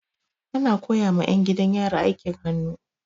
Ana koya ma 'yan gidan yari aikin hannu.